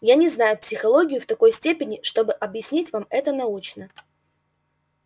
я не знаю психологию в такой степени чтобы объяснить вам это научно